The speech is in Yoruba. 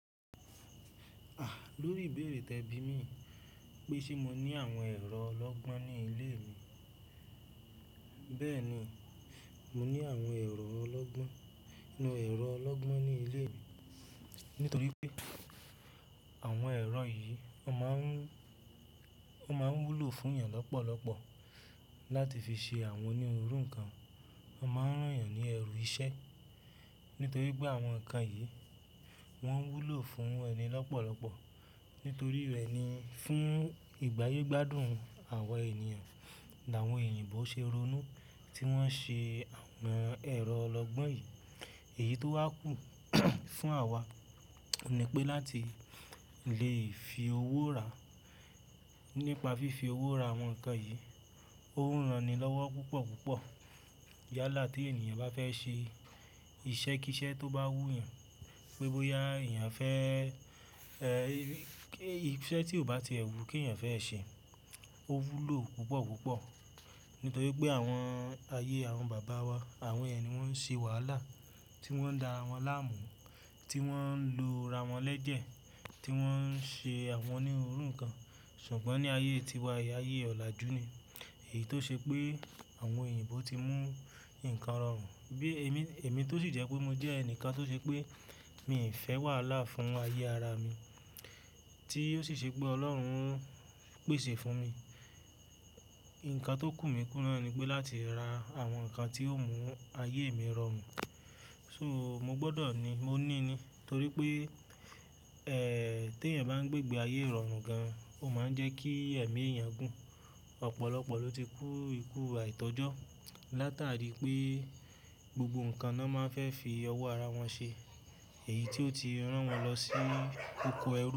A! Lórí ìbéèrè tẹ bí mi yii pé ṣe mo ní àwọn ẹ̀rọ ọlọ́gbọ́n ní ilé mi. Bẹ́ẹ̀ni, mo ní àwọn ẹ̀rọ ọlọ́gbọ́n, àwọn ẹ̀rọ ọlọ́gbọ́n ní ilé mi. Nítorí pé àwọn ẹ̀rọ yìí wo máa ń, wo máa ń wúlò fún èèyàn lọ́pọ̀lọpọ̀ láti fi ṣe àwọn onírúurú nǹkan. Wo n máa ń rán èèyàn ní ẹrù iṣẹ́. Nítorí pé àwọn nǹkan yìí wọ́n ń wúlò fún ẹni lọ́pọ̀lọpọ̀. Nítorí rẹ̀ ni fún ìgbáyé gbádùn àwọn ènìyàn, làwọn eyìnbó ṣe ronú tí wọ́n ṣe àwọn ẹ̀rọ ọlọ́gbọ́n yìí. Èyí tó wá kù fún àwa ni pé láti lè fi owó rá nípa fífi owó ra àwọn nǹkan yìí. Ó ń ranilọ́wọ́ púpọ̀ púpọ̀. Yálà tí ènìyàn bá fẹ́ ṣe iṣẹ́ kí iṣẹ́ tó bá wú èèyàn, pé bóyá èèyàn fẹ́, iṣẹ́ tí ò bá ti ẹ̀wú kí èèyàn fẹ́ ṣe, ó wúlò púpọ̀ púpọ̀. Nítorí pé àwọn ayé àwọn bàbá wa, àwọn yẹni wọ́n ń ṣe wàhálà tí wọ́n ń da ràwọn láàmú, tí wọ́n ń lo ra wọn lẹ́jẹ̀, tí wọ́n ń ṣe àwọn onírúurú nǹkan. Ṣùgbọ́n ní ayé tiwa yìí, ayé ọ̀làjú ni, èyí tó ṣe pé àwọn òyìnbó ti mú nǹkan rọrùn bí èmi, èmi tó sì jẹ́ pé mo jẹ́ ẹnìkan tó ṣe pé mi n fẹ́ wàhálà fún ayé ara mi tí ó sì ṣe pé Ọlọ́run pèsè fún mi. Nǹkan tó kù mí kúná ni pé láti ra àwọn nǹkan tí ó mú ayé mi rọrùn. So mo gbọ́dọ̀ ni, mo ní ni. Nítorí pé, tí èèyàn bá ń gbé gbé ayé rọrùn gan, ó máa ń jẹ́ kí ẹ̀mí èèyàn gùn. Ọ̀pọ̀lọpọ̀ ló ti kú ikú àìtọ́jọ́ látàrí pé gbogbo nǹkan na máa ń fẹ́ fi owó ara wọn ṣe. Èyí tí ó ti rán wọn lọ sí oko ẹrú.